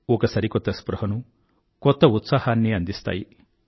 ఒక సరికొత్త స్పృహను కొత్త ఉత్సాహాన్నీ అందిస్తాయి